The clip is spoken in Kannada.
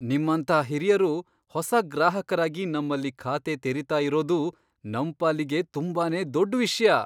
ನಿಮ್ಮಂಥ ಹಿರಿಯರು ಹೊಸ ಗ್ರಾಹಕರಾಗಿ ನಮ್ಮಲ್ಲಿ ಖಾತೆ ತೆರಿತಾ ಇರೋದು ನಮ್ ಪಾಲಿಗೆ ತುಂಬಾನೇ ದೊಡ್ಡ್ ವಿಷ್ಯ!